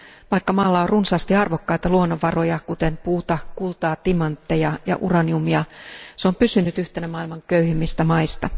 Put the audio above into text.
Vaikka maalla on runsaasti arvokkaita luonnonvaroja, kuten puuta, kultaa, timantteja ja uraniumia, se on pysynyt yhtenä maailman köyhimmistä maista.